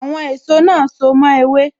Àwọn èso náà so mo ewé